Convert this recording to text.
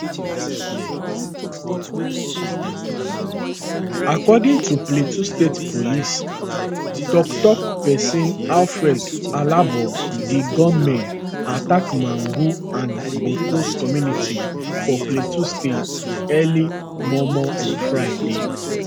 according to plateau state police toktok pesin alfred alabo di gunmen attack magun and bokkos community for plateau state early mormor on friday